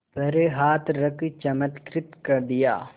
पर हाथ रख चमत्कृत कर दिया